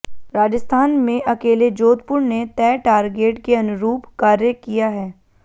राजस्थान में अकेले जोधपुर ने तय टारगेट के अनुरूप कार्य किया है